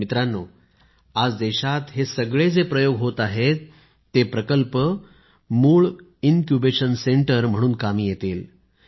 मित्रांनो आज देशात हे सगळे जे प्रयोग होत आहेत ते प्रकल्प मूळ इनक्युबेशन केंद्र म्हणून कामी येतील